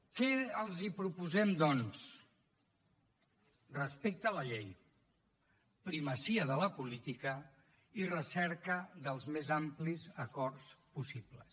què els proposem doncs respecte a la llei primacia de la política i recerca dels més amplis acords possibles